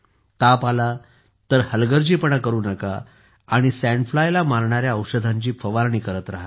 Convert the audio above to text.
ताप आला तर हलगर्जीपणा करू नका आणि सँड फ्लायला मारणाऱ्या औषधांची फवारणी करत रहा